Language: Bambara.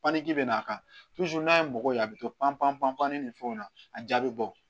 Panpanti bi n'a kan n'a ye mɔgɔ ye a be to panpan pan pan ni fɛnw na a jaabi be bɔ